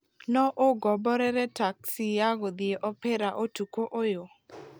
no ũngomborere taxi ya gũthiĩ opera Ũtukũ ũyũ